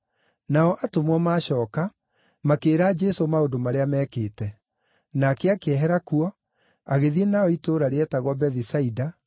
Nao atũmwo maacooka, makĩĩra Jesũ maũndũ marĩa mekĩte. Nake akĩehera kuo, agĩthiĩ nao itũũra rĩetagwo Bethisaida,